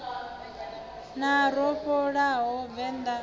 na ro vhofholowa vendḓa ḽo